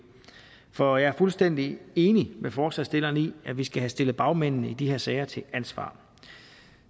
for jeg er fuldstændig enig med forslagsstillerne i at vi skal have stillet bagmændene i de her sager til ansvar